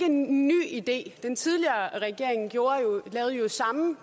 en ny idé den tidligere regering lavede jo samme